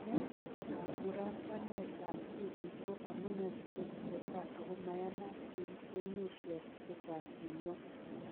Ne kamuratanet ab tibiik ako amune si kotesetai ako maiyanat eng emesyok chechaang eng ngwony